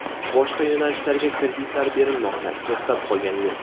Boshqa yo‘nalishlarga kreditlar berilmoqda, to‘xtab qolgani yo‘q.